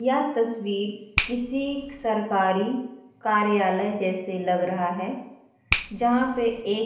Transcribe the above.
यहाँ तस्वीर किसी सरकारी कार्यालय जैसे लग रहा है जहा पे एक --